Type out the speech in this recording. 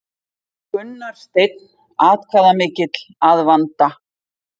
Gunnar Steinn atkvæðamikill að vanda